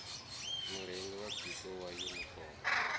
murungi wa biko wa yunifomo